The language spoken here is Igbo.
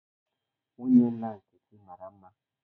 Nwunye nna Nkechi mara mma.